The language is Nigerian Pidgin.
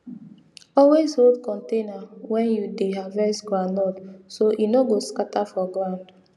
always hold container when you dey harvest groundnut so e no go scatter for ground